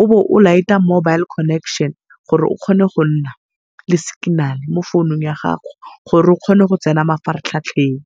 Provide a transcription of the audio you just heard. o bo o light-a mobile connection gore o kgone go nna le signal mo founung ya gago gore o kgone go tsena mafaratlhatlheng.